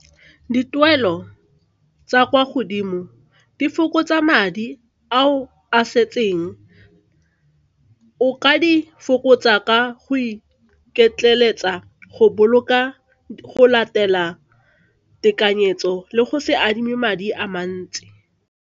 Dituelo tsa kwa godimo di fokotsa madi a o a setseng o ka di fokotsa ka go iketleletsa go boloka, go latela tekanyetso le go se adime madi a mantsi.